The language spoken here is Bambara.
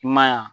I m'a ye a